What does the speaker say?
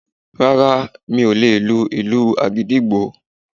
Rárá, mi ò lè lu ìlù agidigbo